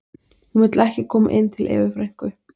Hún vill ekki koma inn til Evu frænku